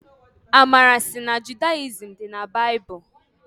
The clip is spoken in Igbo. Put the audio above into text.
Amara sị na Judayizim dị na baịbụlụ.